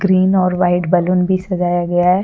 green और white balloon भी सजाया गया--